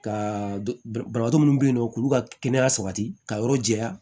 Ka dɔbɔ minnu be yen nɔ k'u ka kɛnɛya sabati ka yɔrɔ jɛya